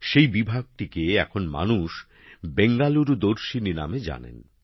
সেই বিভাগটিকে এখন মানুষ বেঙ্গালুরু দর্শিনী নামে জানেন